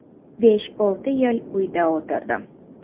Besh-olti yil uyda o‘tirdim.